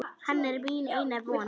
Hann er mín eina von.